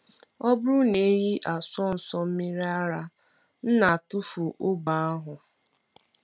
Ọ bụrụ na ehi asụọ nso mmiri ara, m na-atụfu ogbe ahụ.